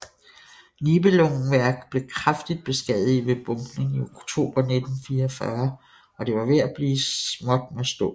Nibelungenwerk blev kraftigt beskadiget ved bombning i oktober 1944 og det var ved at blive småt med stål